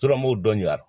Turamo dɔn ya